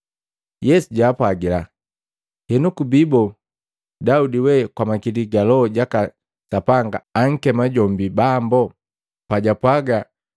Yesu jaapwagila, “Henu kubiboo Daudi we kwa makili ga Loho jaka Sapanga ankema jombi Bambo? Pajwapwaga,